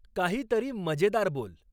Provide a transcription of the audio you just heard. काहीतरी मजेदार बोल